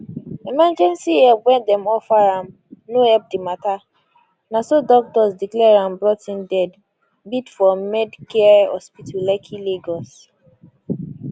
emergency help wey dem offer am no help di matter na so doctors declare am brought in dead bid for med care hospital lekki lagos